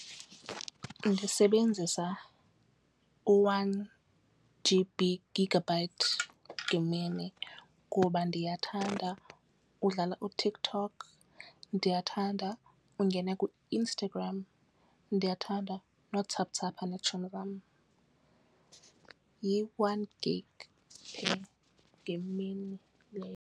Ndisebenzisa u-one G_B gigabyte ngemini kuba ndiyathanda udlala uTikTok, ndiyathanda ungene kuInstagram ndiyathanda nowathsapha neetshomi zam, yi-one gig ngemini leyo.